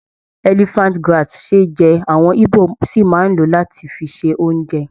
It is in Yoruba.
Elephant grass ṣe é jẹ, àwọn Igbo sì máa ń lò ó láti fi se oúnjẹ.